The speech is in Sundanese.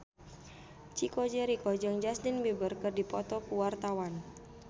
Chico Jericho jeung Justin Beiber keur dipoto ku wartawan